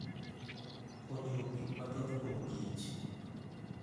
Puonjruok gik mathoth kuom kich